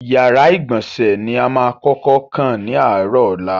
Ìyàrá-ìgbọ̀nsẹ̀ ni a máa kọ́kọ́ kàn ní àárọ̀ ọ̀la.